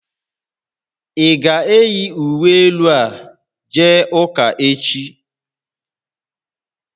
Ị ga-eyi uwe elu a jee ụka echi?